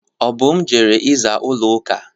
Obum jere ịza ụlọ uka.